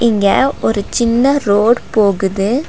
இங்க ஒரு சின்ன ரோடு போகுது.